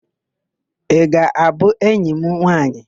Ị ga-abụ enyi m nwaanyị?